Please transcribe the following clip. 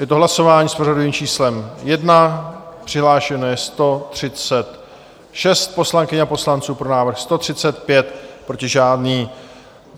Je to hlasování s pořadovým číslem 1, přihlášeno je 136 poslankyň a poslanců, pro návrh 135, proti žádný.